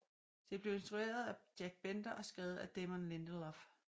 Det blev instrueret af Jack Bender og skrevet af Damon Lindelof